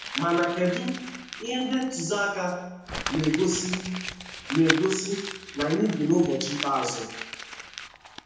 Mana Kedụ ihe ndị ntozi aka na - egosi na - egosi na anyị bi n’ụbọchị ikpeazụ?